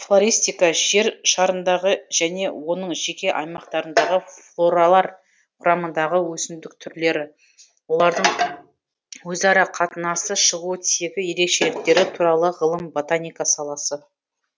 флористика жер шарындағы және оның жеке аймақтарындағы флоралар құрамындағы өсімдік түрлері олардың өзара қатынасы шығу тегі ерекшеліктері туралы ғылым ботаника саласы